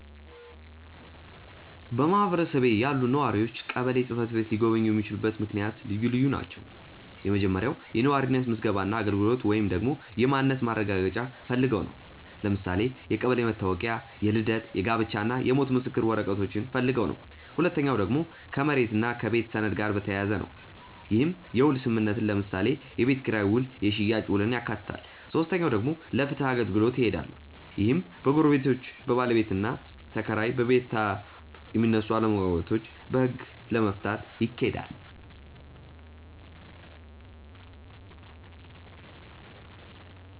በማህበረሰቤ ያሉ ነዋሪዎች ቀበሌ ጽ/ቤት ሊጎበኙ የሚችሉበት ምክንያት ልዩ ልዩ ናቸው። የመጀመሪያው የነዋሪነት ምዝገባ እና አገልግሎት ወይንም ደግሞ የማንነት ማረጋገጫ ፈልገው ነው። ለምሳሌ የቀበሌ መታወቂያ፣ የልደት፣ የጋብቻ እና የሞት ምስክር ወረቀቶችን ፈልገው ነው። ሁለተኛው ደግሞ ከመሬት እና ከቤት ሰነድ ጋር በተያያዘ ነው። ይህም የውል ስምምነትን ለምሳሌ የቤት ኪራይ ውል የሽያጭ ውልን ያካትታል። ሶስተኛው ደግሞ ለፍትህ አገልግሎት ይሄዳሉ። ይህም በጎረቤቶች፣ በባለቤትና ተከራይ እና በቤታብ የሚነሱ አለመግባባቶችን በህግ ለመፍታት ይኬዳል።